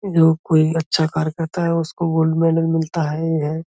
जो कोई अच्छा कार्य करता है उसको गोल्ड मेडल मिलता है ही हैं।